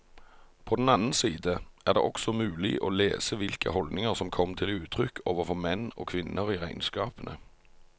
På den annen side er det også mulig å lese hvilke holdninger som kom til uttrykk overfor menn og kvinner i regnskapene.